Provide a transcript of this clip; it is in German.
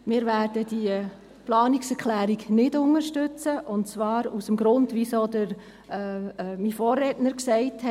Wir werden diese Planungserklärung nicht unterstützen, und zwar aus dem Grund, den auch mein Vorredner genannt hat.